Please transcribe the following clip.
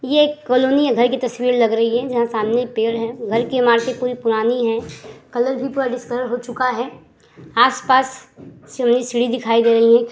ये एक कॉलोनी है। घर की तस्वीर लग रही है जहां सामने एक पेड़ है। घर की इमारतें पूरी पुरानी हैं। कलर भी पूरा डिस्कलर हो चुका है। आस-पास सीढ़ी सीढ़ी दिखाई दे रही हैं।